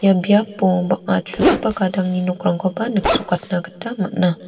ia biapo bang·a chugipa gadangni nokrangkoba niksrokatna gita man·a.